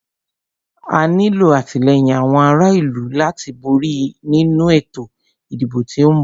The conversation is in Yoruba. A nílo àtìlẹ́yìn àwọn ará ìlú láti borí nínu ètò ìdìbò tí o ń bọ̀.